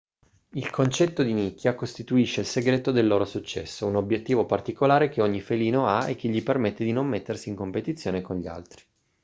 il concetto di nicchia costituisce il segreto del loro successo un obiettivo particolare che ogni felino ha e che gli permette di non mettersi in competizione con gli altri